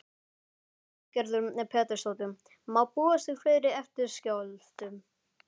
Lillý Valgerður Pétursdóttir: Má búast við fleiri eftirskjálftum?